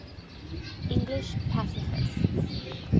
english pacifists